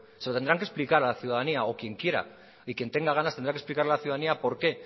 se lo tendrán que explicar a la ciudadanía o quien quiera y quien tenga ganas tendrá que explicar a la ciudadanía por qué